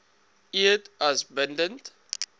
eed as bindend